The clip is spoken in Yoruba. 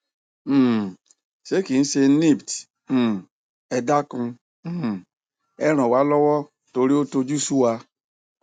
um sé kí a ṣe nipt um ẹ dákun um ẹ ràn wá lọwọ torí ó tojú sú wa